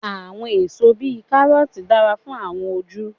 Àwọn èso bíi Kárọ́ọ̀tì dára fún àwọn ojú.